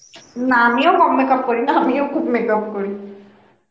না আমিও কম makeup করিনা আমিও খুব makeup করি